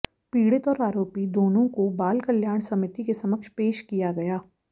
पीड़ित और आरोपी दोनों को बाल कल्याण समिति के समक्ष पेश किया गया